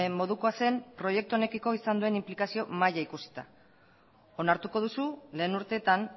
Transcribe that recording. modukoa zen proiektu honekiko izan duen inplikazio maila ikusita onartuko duzu lehen urteetan